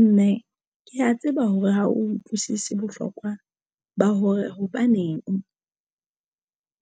Mme ke ya tseba hore ha o utlwisisa bohlokwa ba hore hobaneng